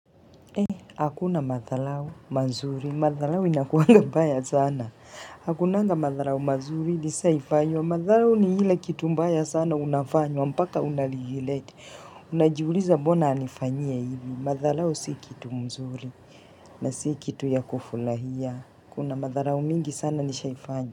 Hei, hakuna madhalau, mazuri, madhalau inakuanga mbaya sana. Hakunanga madharau mazuri, nishai fanywa, madharau ni ile kitu mbaya sana unafanywa, mpaka unaligilete. Unajiuliza mbona anifanyie hivi, madhalau si kitu mzuri, na si kitu ya kufulahia. Kuna madharau mingi sana nishai fanya.